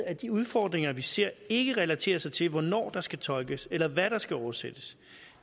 at de udfordringer vi ser ikke relaterer sig til hvornår der skal tolkes eller hvad der skal oversættes